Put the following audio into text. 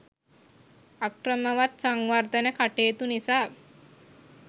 අක්‍රමවත් සංවර්ධන කටයුතු නිසා